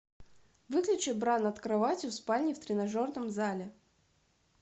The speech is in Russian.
выключи бра над кроватью в спальне в тренажерном зале